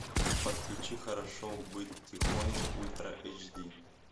подключи хорошо быть тихоней ультра эйч ди